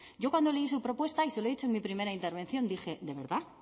yo cuando leí su propuesta y se lo he dicho en mi primera intervención dije de verdad